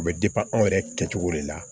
U bɛ anw yɛrɛ kɛcogo de la